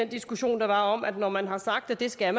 i diskussionen om at når man har sagt at det skal